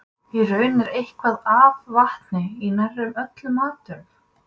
Í raun er eitthvað af vatni í nær öllum matvörum.